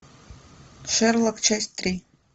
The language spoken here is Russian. шерлок часть три